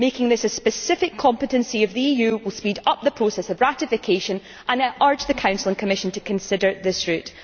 Making this a specific competence of the EU will speed up the process of ratification, and I urge the Council and the Commission to consider this route.